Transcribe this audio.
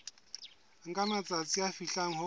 nka matsatsi a fihlang ho